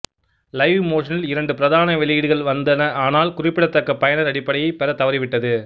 லைவ்மோஷனில் இரண்டு பிரதான வெளியீடுகள் வந்தன ஆனால் குறிப்பிடத்தக்க பயனர் அடிப்படையைப் பெறத் தவறிவிட்டது